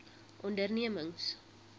ondernemings